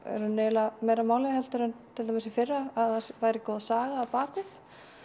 rauninni eiginlega meira máli en til dæmis í fyrra að það væri góð saga á bak við